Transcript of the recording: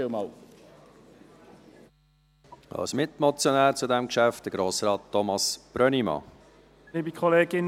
Als Mitmotionär spricht zu diesem Geschäft Grossrat Thomas Brönnimann.